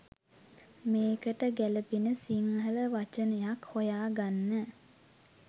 මේකට ගැළපෙන සිංහල වචනයක් හොයා ගන්න